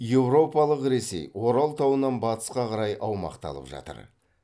еуропалық ресей орал тауынан батысқа қарай аумақты алып жатыр